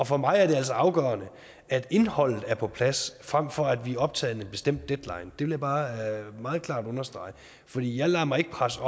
for mig er det altså afgørende at indholdet er på plads frem for at vi er optaget af en bestemt deadline vil jeg bare meget klart understrege for jeg lader mig ikke presse